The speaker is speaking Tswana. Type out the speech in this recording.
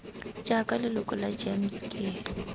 jaaka leloko la gems ke